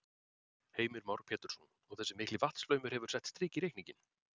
Heimir Már Pétursson: Og þessi mikli vatnsflaumur hefur sett strik í reikninginn?